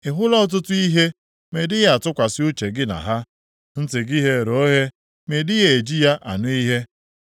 Ị hụla ọtụtụ ihe, ma ị dịghị atụkwasị uche gị na ha. Ntị gị ghere oghe, ma ị dịghị eji ya anụ ihe.”